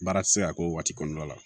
Baara ti se ka k'o waati kɔnɔna la